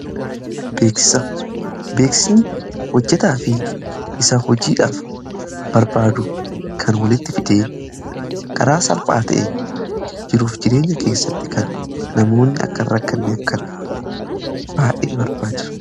Beeksisni hojjetaa fi isa hojiidhaaf barbaadu kan walitti fidee karaa salphaa ta'e jiruuf jireenya keessatti kan namoonni akka hin rakkanneef kan baay'ee barbaachisu.